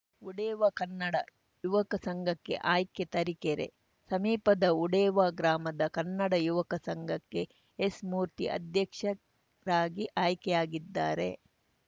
ಉಡೇವಾ ಕನ್ನಡ ಯುವಕ ಸಂಘಕ್ಕೆ ಆಯ್ಕೆ ತರೀಕೆರೆ ಸಮೀಪದ ಉಡೇವಾ ಗ್ರಾಮದ ಕನ್ನಡ ಯುವಕ ಸಂಘಕ್ಕೆ ಎಸ್‌ ಮೂರ್ತಿ ಅಧ್ಯಕ್ಷರಾಗಿ ಆಯ್ಕೆಯಾಗಿದ್ದಾರೆ